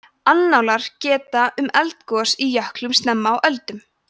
annálar geta um eldgos í jöklum snemma á öldum